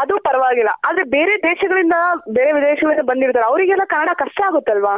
ಅದು ಪರವಾಗಿಲ್ಲ ಆದ್ರೆ ಬೇರೆ ದೇಶಗಳಿಂದ ಬೇರೆ ದೇಶಗಳಿಂದ ಬಂದಿರ್ತಾರೆ ಅವರ್ಗೆಲ್ಲ ಕನ್ನಡ ಕಷ್ಟ ಆಗುತ್ತಲ್ವ?